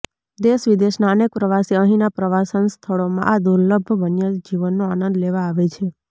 દેશ વિદેશના અનેક પ્રવાસી અહીંના પ્રવાસન સ્થળોમાં આ દૂર્લભ વન્ય જીવનનો આનંદ લેવા આવે છે